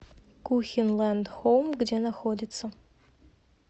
кухенлэнд хоум где находится